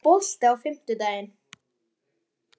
Júníus, er bolti á fimmtudaginn?